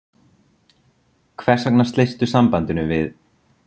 Hvers vegna sleistu sambandinu við